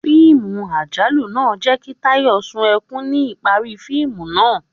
Fiimú ajalù naa jẹ ki Tayó sún ekún ni ipari fiimu naa